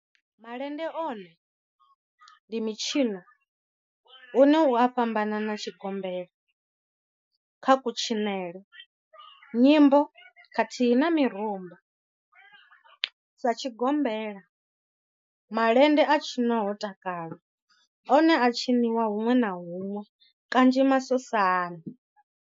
Malende one ndi mitshino une u a fhambana na tshigombela kha kutshinele, nyimbo khathihi na mirumba. Sa tshigombela, malende a tshinwa ho takalwa, one a a tshiniwa hunwe na hunwe kanzhi masosani.